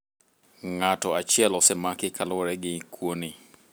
Ng'atachiel osemaki kaluowore gi kuoni.